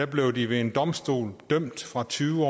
blev de ved en domstol dømt fra tyve